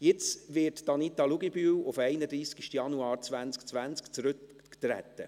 Jetzt wird Anita Luginbühl per 31. Januar 2020 zurücktreten.